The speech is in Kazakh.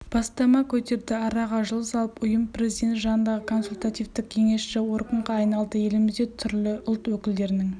бастама көтерді араға жыл салып ұйым президент жанындағы консультативті-кеңесші органға айналды елімізде түрлі ұлт өкілдерінің